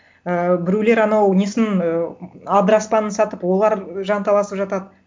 ыыы біреулер анау несін ы адыраспанын сатып олар жанталасып жатады